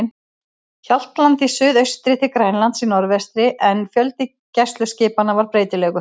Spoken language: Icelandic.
Hjaltlandi í suðaustri til Grænlands í norðvestri, en fjöldi gæsluskipanna var breytilegur.